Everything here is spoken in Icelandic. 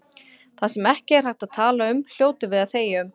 Það sem ekki er hægt að tala um hljótum við að þegja um.